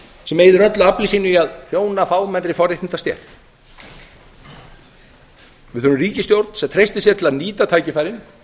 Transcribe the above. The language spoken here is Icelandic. sem eyðir öllu afli sínu í að þjóna fámennri forréttindastétt við þurfum ríkisstjórn sem treystir sér til að nýta tækifærin